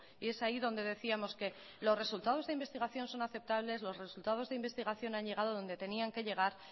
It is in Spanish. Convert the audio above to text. y es ahí donde decíamos que los resultados de investigación son aceptables los resultados de investigación han llegado a donde tenían que llegar